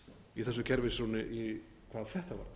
í þessu kerfishruni hvað þetta